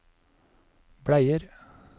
bleier